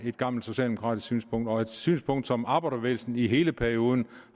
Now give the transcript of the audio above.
gammelt socialdemokratisk synspunkt og et synspunkt som arbejderbevægelsen i hele perioden